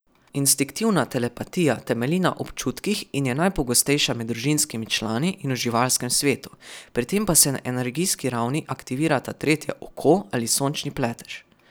Instinktivna telepatija temelji na občutkih in je najpogostejša med družinskimi člani in v živalskem svetu, pri tem pa se na energijski ravni aktivirata tretje oko ali sončni pletež.